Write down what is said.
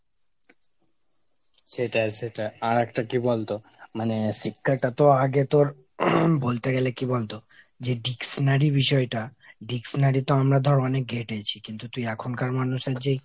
সেটাই সেটা। আর একটা কি বলতো মানে শিক্ষাটা তো আগে তোর বলতে গেলে কি বলতো, যে dictionary বিষয়টা dictionary তো আমরা ধর অনেক ঘেটেছি। কিন্তু তুই এখনকার মানুষের যেই,